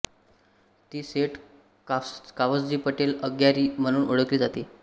ती सेठ कावसजी पटेल अग्यारी म्हणून ओळखली जाते